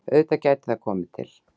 Auðvitað gæti það komið til.